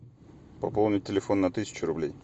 пополнить телефон на тысячу рублей